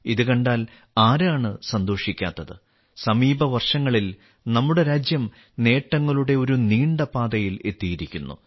ഇത് കണ്ടാൽ ആരാണ് സന്തോഷിക്കാത്തത് സമീപ വർഷങ്ങളിൽ നമ്മുടെ രാജ്യം നേട്ടങ്ങളുടെ ഒരു നീണ്ട പാതയിൽ എത്തിയിരിക്കുന്നു